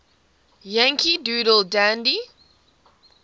yankee doodle dandy